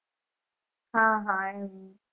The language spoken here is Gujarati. હા હા એમ